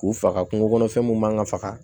K'u faga kungo kɔnɔfɛn mun man ka faga